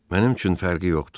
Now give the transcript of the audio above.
Mənim üçün fərqi yoxdur.